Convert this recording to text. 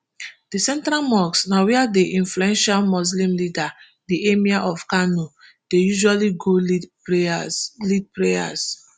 di central mosque na wia di influential muslim leader di emir of kano dey usually go lead prayers lead prayers